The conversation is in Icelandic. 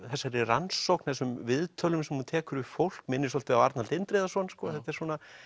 þessari rannsókn og þessum viðtölum sem hún tekur við fólk minnir svolítið á Arnald Indriðason þetta er